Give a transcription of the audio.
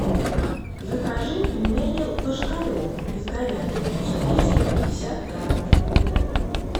закажи пельмени ложкарев из говядины четыреста пятьдесят граммов